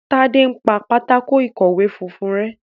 Tade npá Pátákó ìkọ̀wé funfun rẹ.